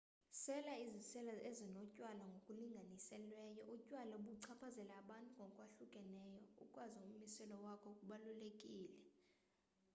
sela iziselo ezinotywala ngokulinganiselweyo utywala buchaphazela abantu ngokwahlukeneyo ukwazi ummiselo wakho kubalulekile